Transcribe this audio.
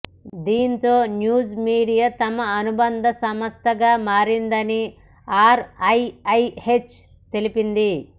దీంతో news media తమ అనుబంధ సంస్థగా మారిందని ఆర్ఐఐహెచ్ తెలిపింది